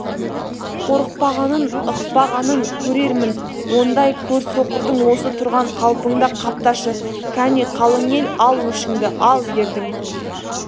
қорықпағанын ықпағанын көрермін ондай көрсоқырдың осы тұрған қалпыңда қапташы кәне қалың ел ал өшіңді ал ердің